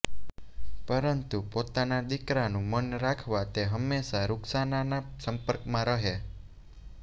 પરંતુ પોતાના દીકરાનું મન રાખવા તે હંમેશા રુકસાનાના સંપર્કમાં રહે